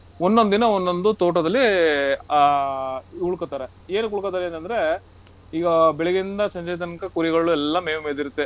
ಒಂದೊಂದ್ ದಿನ ಒಂದೊಂದು ತೋಟದಲ್ಲಿ ಆಹ್ ಉಳ್ಕೋತಾರೆ. ಏನಕ್ ಉಳ್ಕೋತಾರೇಂತಂದ್ರೆ, ಈಗ ಬೆಳಗ್ಗಿಂದ ಸಂಜೆ ತನ್ಕ ಕುರಿಗಳು ಎಲ್ಲಾ ಮೇವು ಮೆಯ್ದಿರತ್ತೆ.